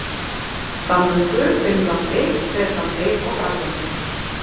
Danmörku, Finnlandi, Bretlandi og Frakklandi.